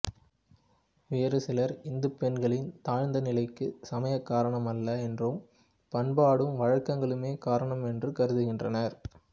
வேறு சிலர் இந்துப் பெண்களின் தாழ்ந்தநிலைக்கு சமயம் காரணமல்ல என்றும் பண்பாடும் வழக்கங்களுமே காரணம் என்றும் கருதுகின்றனர்